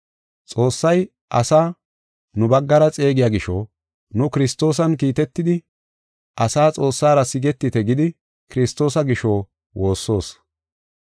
Xoossay asaa nu baggara xeegiya gisho, nu Kiristoosan kiitetidi asaa Xoossara sigetite gidi Kiristoosa gisho, woossoos.